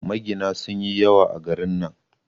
Magina sun yi yawa a garin nan